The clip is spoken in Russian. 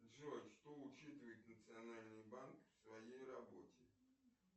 джой что учитывает национальный банк в своей работе